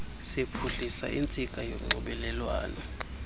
siphuhlisa intsika yonxibelelwano